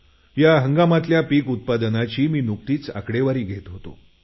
या हंगामातल्या पीक उत्पादनाची मी नुकतीच आकडेवारी घेत होतो